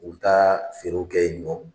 U bi taa feerew kɛ yen nɔ.